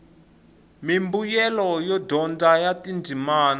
mimbuyelo yo dyondza ya tindzimi